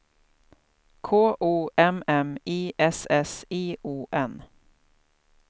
K O M M I S S I O N